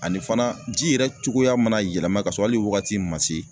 Ani fana ji yɛrɛ cogoya mana yɛlɛma ka sɔrɔ hali wagati ma se